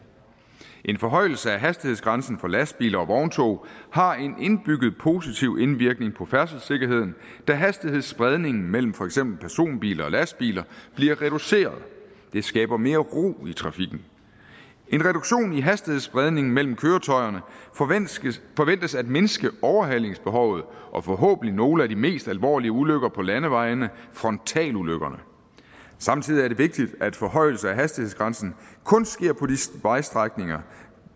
en forhøjelse af hastighedsgrænsen for lastbiler og vogntog har en indbygget positiv indvirkning på færdselssikkerheden da hastighedsspredningen mellem for eksempel personbiler og lastbiler bliver reduceret det skaber mere ro i trafikken en reduktion i hastighedsspredningen mellem køretøjerne forventes at mindske overhalingsbehovet og forhåbentlig nogle af de mest alvorlige ulykker på landevejene frontalulykkerne samtidig er det vigtigt at en forhøjelse af hastighedsgrænsen kun sker på de vejstrækninger